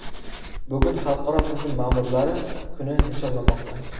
Bugun Xalqaro tizim ma’murlari kuni nishonlanmoqda.